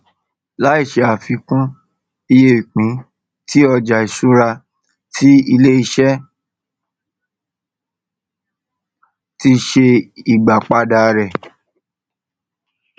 láì ṣe àfikún iye ìpín tí ọjà ìṣúra tí iléiṣẹ ti ṣe ìgbàpadà rẹ